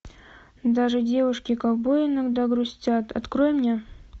даже девушки ковбои иногда грустят открой мне